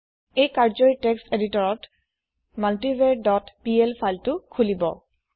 এই কাৰ্য্যই টেক্সট এদিতৰত মাল্টিভাৰ ডট পিএল ফাইলটি খুলিব